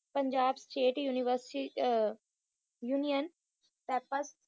Punjab state university ah union